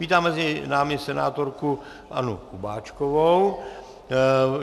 Vítám mezi námi senátorku Annu Kubáčkovou.